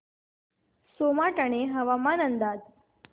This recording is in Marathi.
सोमाटणे हवामान अंदाज